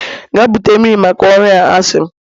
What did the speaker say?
Gaa bute mmiri maka ọrụ a, a sị m!